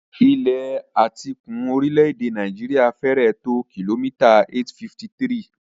Ìlà etíkun orílẹ̀-èdè Nàìjíríà fẹ́rẹ̀ẹ́ tó kìlómítà 853.